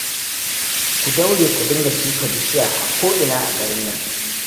Ku daure ku dinga shuka bishiya a ko'ina a garin nan